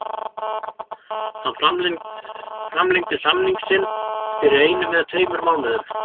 Hann framlengdi samning sinn fyrir einum eða tveimur mánuðum.